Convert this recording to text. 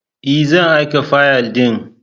Ee! zan aika fayil ɗin.